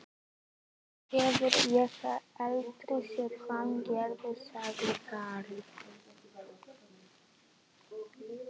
Það hef ég aldrei séð hann gera sagði Karl.